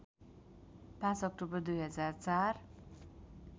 ५ October २००४